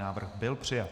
Návrh byl přijat.